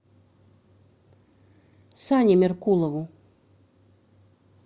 сане меркулову